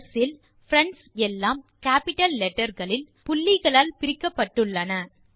ஸ் இல் பிரெண்ட்ஸ் எல்லாம் கேப்பிட்டல் லெட்டர் களில் புள்ளிகளால் பிரிக்கப்பட்டு இருக்கிறது